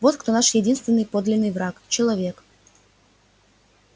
вот кто наш единственный подлинный враг человек